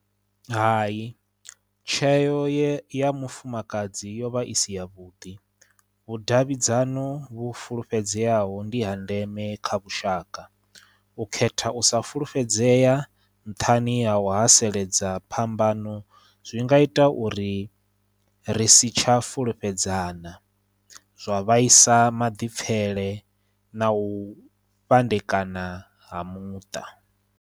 Hai tsheo ye ya mufumakadzi yo vha i si ya vhuḓi vhudavhidzano vhu fulufhedzeaho ndi ha ndeme kha vhushaka u khetha u sa fulufhedzea nthani ha u haseledza phambano zwi nga ita uri ri sitsha fulufhedzana zwa vhaisa maḓipfele na u fhandekana ha muṱa.